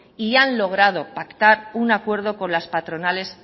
y han logrado pactar un acuerdo con las patronales